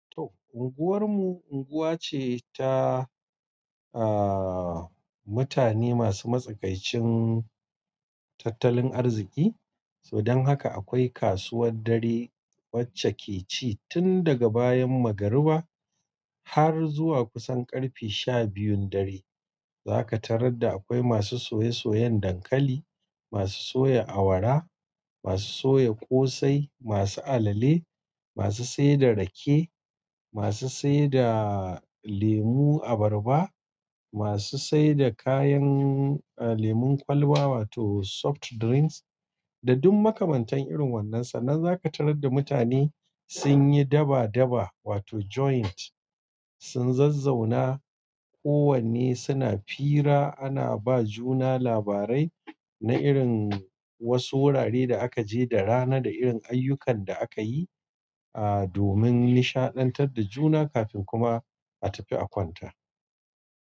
Unguwar mu unguwa ce ta, ah, mutane masu matsakaicin, tattalin arziki. Dan haka akwai kasuwar dare, wacce ke ci tun daga bayan magariba. Har zuwa kusan ƙarfe sha biyun dare. Zaka tarar da akwai masu soye-soyen dankali, masu soya awara, masu soya ƙosai, masu alale, masu saida rake, masu saida lemu abarba, masu saida kayan. Lemon kwalba wato soft drinks. Da duk makamantan irin wannan sa. Nan zaka tarar da mutane, sun yi daba-daba wato joint, sun zazzauna, kowanne suna fira ana ba juna labarai. Na irin, wasu wurare da aka je da rana, da irin ayyukan da aka yi, ah domin nishaɗantar da juna kafin kuma. A tafi a kwanta.